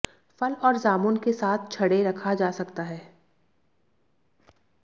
फल और जामुन के साथ छड़ें रखा जा सकता है